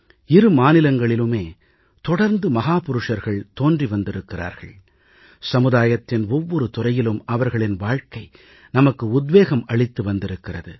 இரு மாநிலங்களிலுமே தொடர்ந்து மகாபுருஷர்கள் தோன்றியிருக்கிறார்கள் சமுதாயத்தின் ஒவ்வொரு துறையிலும் அவர்களின் வாழ்க்கை நமக்கு உத்வேகம் அளித்து வந்திருக்கிறது